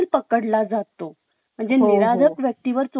म्हणजे निरागस व्यक्तीवर चोरीचा आळा देखील येत नाही..